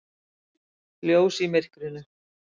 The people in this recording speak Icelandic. Ljós í myrkrinu.